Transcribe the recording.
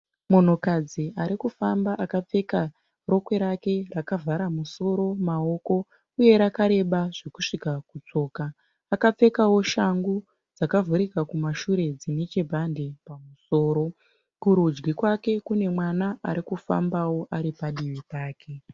Munhukadzi ari kufamba akapfeka rokwe rake rakavhara musoro, maoko uye rakareba zvekusvika kutsoka. Akapfekawo shangu dzakavhurika kumashure dzine chibhande pamusoro. Kurudyi kwake kune mwana ari kufambawo ari padivi pake.